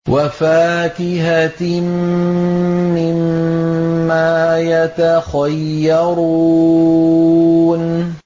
وَفَاكِهَةٍ مِّمَّا يَتَخَيَّرُونَ